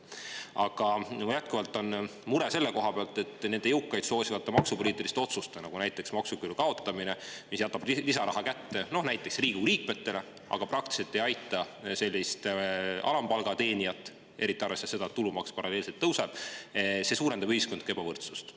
Aga jätkuvalt on mure selle koha pealt, et need jõukaid soosivad maksupoliitilised otsused, nagu näiteks maksuküüru kaotamine, mis jätavad lisaraha kätte Riigikogu liikmetele, aga praktiliselt ei aita sellist alampalgateenijat, eriti arvestades seda, et tulumaks paralleelselt tõuseb, suurendavad ühiskondlikku ebavõrdsust.